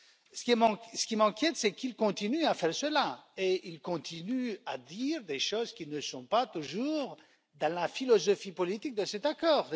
Ce qui m'inquiète, c'est qu'ils continuent à faire cela, et ils continuent à dire des choses qui ne sont pas toujours dans la philosophie politique de cet accord.